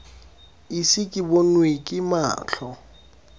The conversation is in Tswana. ise ke bonwe ke matlho